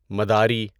مداری